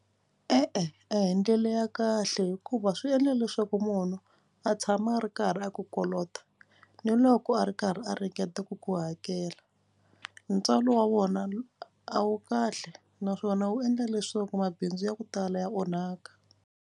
E-e hi ndlela ya kahle hikuva swi endla leswaku munhu a tshama a ri karhi a ku kolota ni loko a ri karhi a ringeta ku ku hakela ntswalo wa wona a wu kahle naswona wu endla leswaku mabindzu ya ku tala ya onhaka.